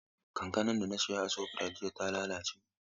Kankanan da na saya a Shofrayit jiya ta lalace.